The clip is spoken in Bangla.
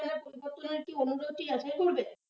বিপত্তনৈতিক কে করবে?